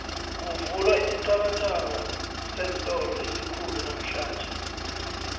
kuvulwa isithabathaba seentolo esikhulu namhlanje